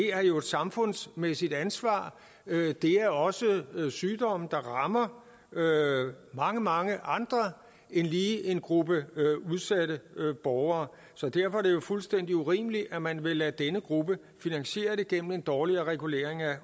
er et samfundsmæssigt ansvar det er også sygdomme der rammer mange mange andre end lige en gruppe af udsatte borgere derfor er det jo fuldstændig urimeligt at man vil lade denne gruppe finansiere det gennem en dårligere regulering af